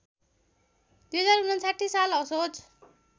२०५९ साल असोज